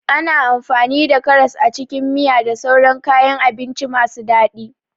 Ana amfani da karas a cikin miya da sauran kayan abinci masu daɗi.